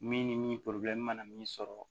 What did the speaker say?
Min ni mana min sɔrɔ